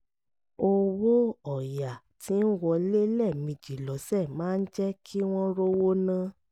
owó ọ̀yà tí ń wọlé lẹ́ẹ̀mejì lọ́sẹ̀ máa ń jẹ́ kí wọ́n rówó ná